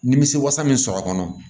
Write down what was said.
Nimisi wasa min sɔrɔ a kɔnɔ